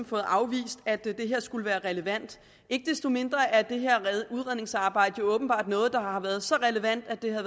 fået afvist at det her skulle være relevant ikke desto mindre er det her udredningsarbejde jo åbenbart noget der har været så relevant at det har